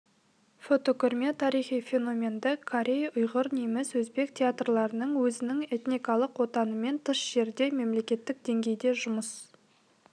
фотокөрме тарихи феноменді корей ұйғыр неміс өзбек театрларының өзінің этникалық отанынан тыс жерде мемлекеттік деңгейде жұмыс